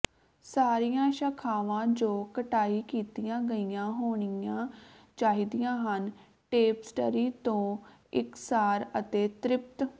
ਸਾਰੀਆਂ ਸ਼ਾਖਾਵਾਂ ਜੋ ਕਟਾਈ ਕੀਤੀਆਂ ਗਈਆਂ ਹੋਣੀਆਂ ਚਾਹੀਦੀਆਂ ਹਨ ਟੇਪਸਟਰੀ ਤੋਂ ਇਕਸਾਰ ਅਤੇ ਤ੍ਰਿਪਤ